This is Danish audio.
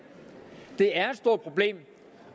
det er et stort problem